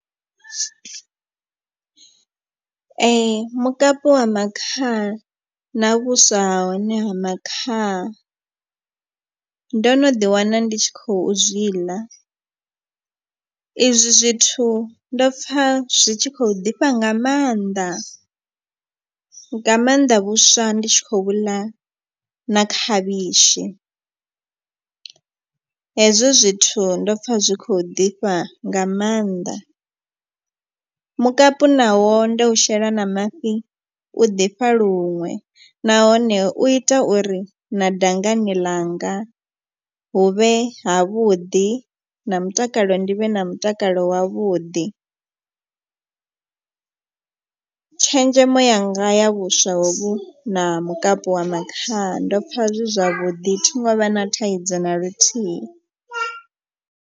Mukapu wa makhaha na vhuswa ha hone ha makhaha ndo no ḓi wana ndi tshi khou zwi ḽa. I zwi zwithu ndo pfa zwi tshi khou ḓifha nga maanḓa nga maanḓa vhuswa ndi tshi khou ḽa na khavhishi. Hezwo zwithu ndo pfha zwi khou ḓifha nga maanḓa. Mukapu nawo ndo u shela na mafhi u ḓifha luṅwe nahone u ita uri na dangani ḽanga huvhe ha vhuḓi na mutakalo ndi vhe na mutakalo kale wavhuḓi. Tshenzhemo yanga ya vhuswa hovhu na mukapu wa makhaha ndo pfha zwi zwavhuḓi thi ngo vha na thaidzo na luthihi.